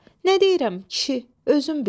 Nə deyirəm, kişi, özün bil.